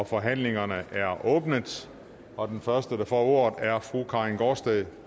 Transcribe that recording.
forhandlingerne er åbnet og den første der får ordet er fru karin gaardsted